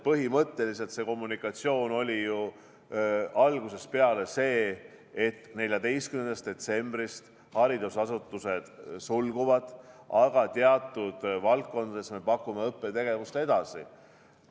Põhimõtteliselt oli otsus ju algusest peale see, et 14. detsembrist haridusasutused sulguvad, aga teatud valdkondades me pakume õppetegevust edasi.